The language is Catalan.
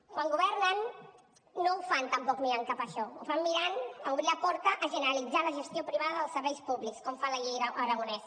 quan governen no ho fan tampoc mirant cap això ho fan mirant a obrir la porta a generalitzar la gestió privada dels serveis públics com fa la llei aragonès